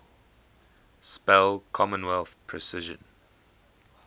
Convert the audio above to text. spell commonwealth precision